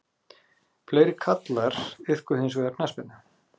Fleiri karlar iðkuðu hins vegar knattspyrnu